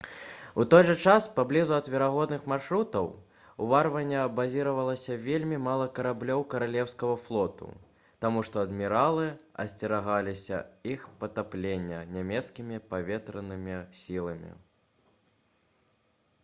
у той жа час паблізу ад верагодных маршрутаў уварвання базіравалася вельмі мала караблёў каралеўскага флоту таму што адміралы асцерагаліся іх патаплення нямецкімі паветранымі сіламі